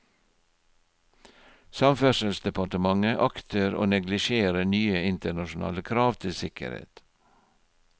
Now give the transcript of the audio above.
Samferdselsdepartementet akter å neglisjere nye internasjonale krav til sikkerhet.